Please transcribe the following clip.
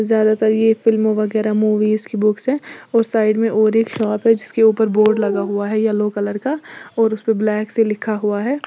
ज्यादातर ये फिल्म वगैरा मूवीज की बुक्स हैं और साइड में और एक शॉप है जिसके ऊपर बोर्ड लगा हुआ है येलो कलर का और उसपे ब्लैक से लिखा हुआ है।